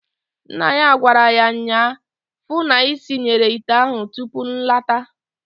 Nne ya gwara ya nnyaa, "Fu na isinyere ite ahụ tupu nlata."